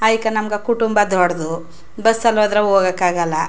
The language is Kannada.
ಅಯ್ಕ್ ನಮ್ಮಗ್ ಕುಟುಂಬ ದೊಡ್ಡದು ಬಸ್ ಅಲ್ಲಿ ಹೋದ್ರೆ ಹೋಗಕ್ ಆಗಲ್ಲಾ.